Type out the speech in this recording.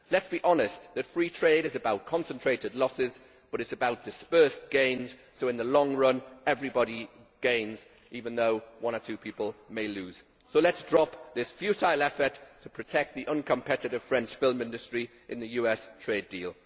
Let us be honest that free trade is about concentrated losses, but it is also about dispersed gains, so in the long run everybody gains although one or two people may lose. So let us drop this futile effort to protect the uncompetitive French film industry in the US trade deal.